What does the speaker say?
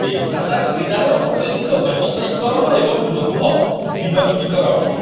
ପେସାଦାର କ୍ରୀଡ଼ାରେ ଅତ୍ୟଧିକ ବ୍ୟବସାୟୀକରଣ ଏବଂ ଲୋଭ ବିରକ୍ତିକର ଅଟେ।